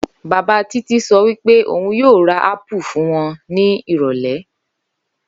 Bàbá Títí so̩ wí pé òun yóò ra ápù fún wo̩n ní ìrò̩lé̩